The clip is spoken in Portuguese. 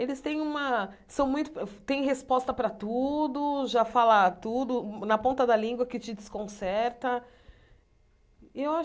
Eles têm uma são muito têm resposta para tudo, já fala tudo, na ponta da língua que te desconcerta. Eu acho